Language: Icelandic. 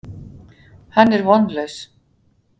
Hann er vonlaus.